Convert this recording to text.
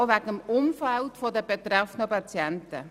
Dies auch wegen des Umfelds der betroffenen Patienten.